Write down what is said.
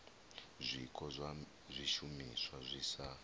zwiko zwa zwishumiswa zwi sa